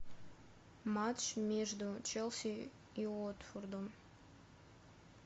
матч между челси и уотфордом